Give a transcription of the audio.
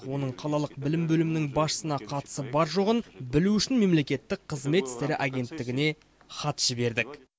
оның қалалық білім бөлімінің басшысына қатысы бар жоғын білу үшін мемлекеттік қызмет істері агенттігіне хат жібердік